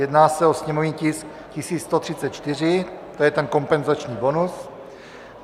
Jedná se o sněmovní tisk 1134, to je ten kompenzační bonus.